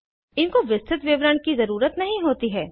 इनको विस्तृत विवरण की ज़रुरत नहीं होती है